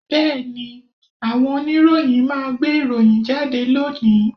Bẹ́ẹ̀ni, àwọn oníròyìn máa gbé ìròyìn jáde lónìí